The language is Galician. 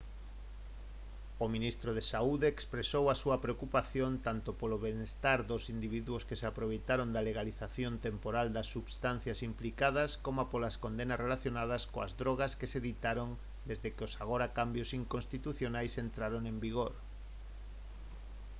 o ministro de saúde expresou a súa preocupación tanto polo benestar dos individuos que se aproveitaron da legalización temporal das substancias implicadas coma polas condenas relacionadas coas drogas que se ditaron desde que os agora cambios inconstitucionais entraron en vigor